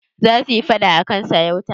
Za su yi faɗa a kan sarauta.